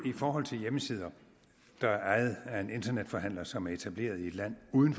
i forhold til hjemmesider der er ejet af en internetforhandler som er etableret i et land uden